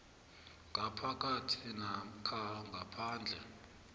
ngaphakathi namkha ngaphandle